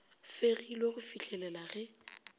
fegilwe go fih lela ge